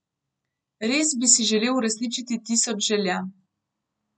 Res bi si želel uresničiti tisoč želja.